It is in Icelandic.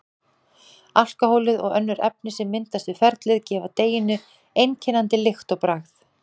Alkóhólið og önnur efni sem myndast við ferlið gefa deiginu einkennandi lykt og bragð.